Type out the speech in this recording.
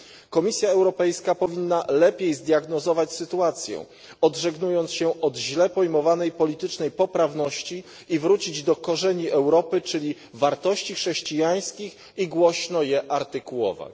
Komisja Europejska powinna lepiej zdiagnozować sytuację, odżegnując się od źle pojmowanej politycznej poprawności, i wrócić do korzeni Europy, czyli wartości chrześcijańskich, i głośno je artykułować.